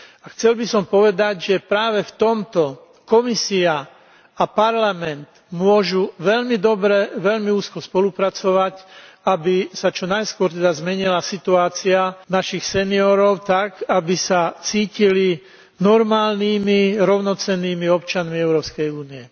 Chcel by som povedať, že práve v tomto Komisia a Parlament môžu veľmi dobre, veľmi úzko spolupracovať, aby sa čo najskôr teda zmenila situácia našich seniorov tak, aby sa cítili normálnymi rovnocennými občanmi Európskej únie.